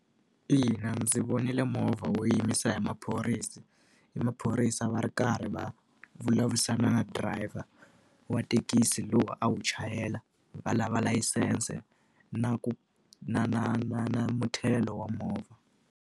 Ina, ndzi vonile movha wo yimisiwa hi maphorisa hi maphorisa va ri karhi va vulavurisana na driver wa thekisi lowu a wu chayela, va lava layisense, na ku na na na na muthelo wa movha.